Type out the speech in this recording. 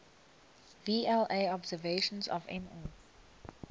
vla observations of nh